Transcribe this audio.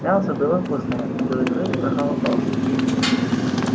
мясо было вкусное а белый клык проголодался